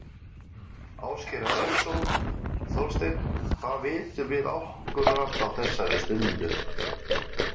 Ásgeir Erlendsson: Þorsteinn hvað vitum við akkúrat á þessari stundu?